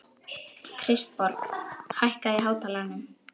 Kristborg, hækkaðu í hátalaranum.